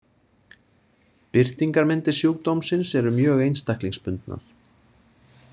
Birtingarmyndir sjúkdómsins eru mjög einstaklingsbundnar.